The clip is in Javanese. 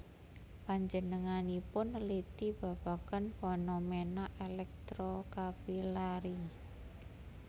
Panjenenganipun neliti babagan fenomena electrocapillary